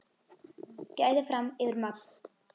Gæði fram yfir magn.